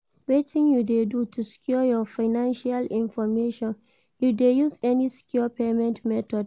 Wetin you dey do to secure your financial information, you dey use any secure payment method?